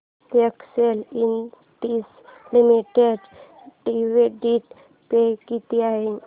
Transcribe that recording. Excel industries limited dividend pay किती आहे